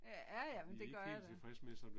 Ja jamen det gør jeg da